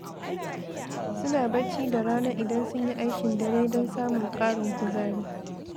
Suna barci da rana idan sun yi aikin dare don samun ƙarin kuzari.